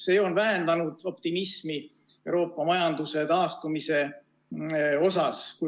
See on vähendanud optimismi Euroopa majanduse taastumise suhtes.